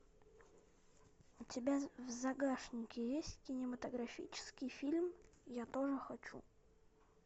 у тебя в загашнике есть кинематографический фильм я тоже хочу